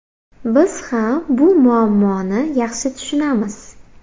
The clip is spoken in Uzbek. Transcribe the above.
Biz ham bu muammoni yaxshi tushunamiz.